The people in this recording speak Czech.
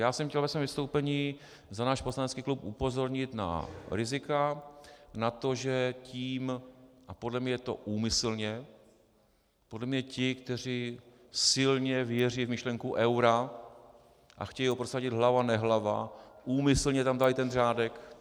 Já jsem chtěl ve svém vystoupení za náš poslanecký klub upozornit na rizika, na to, že tím - a podle mě je to úmyslně, podle mě ti, kteří silně věří v myšlenky eura a chtějí ho prosadit hlava nehlava, úmyslně tam dali ten řádek.